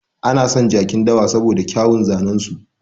Ana son jakin dawa saboda kyauwun zanen su.